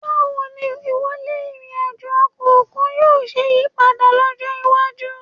Báwo ni wíwọlé ìrìn àjò ọkọ̀ òkun yóò ṣe yí padà lọ́jọ́ iwájú